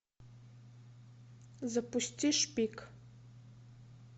запусти шпик